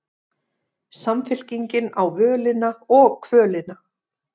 Samfylkingin á völina og kvölina